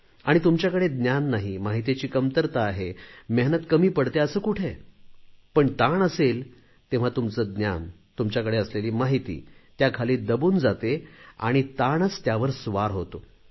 आणि तुमच्याकडे ज्ञान नाही माहितीची कमतरता आहे मेहनत कमी पडतेय असे कुठे आहे पण ताण असेल तेव्हा तुमचे ज्ञान तुमच्याकडे असलेली माहिती त्याखाली दबून जाते आणि ताणच त्यावर स्वार होतो